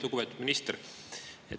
Lugupeetud minister!